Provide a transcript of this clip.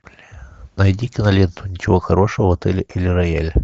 найди киноленту ничего хорошего в отеле эль рояль